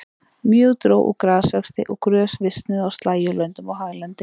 Mjög dró úr grasvexti og grös visnuðu á slægjulöndum og haglendi.